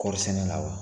Kɔɔri sɛnɛ la wa